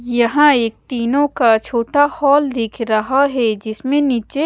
यहाँ एक टीनों का छोटा हॉल दिख रहा है जिसमे नीचे--